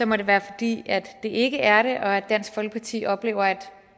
må det være fordi det ikke er det og at dansk folkeparti oplever at